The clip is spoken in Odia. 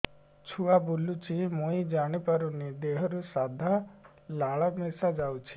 ଛୁଆ ବୁଲୁଚି ମୁଇ ଜାଣିପାରୁନି ଦେହରୁ ସାଧା ଲାଳ ମିଶା ଯାଉଚି